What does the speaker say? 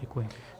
Děkuji.